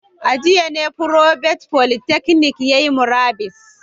A jiya ne provost polytechnic yayi murabus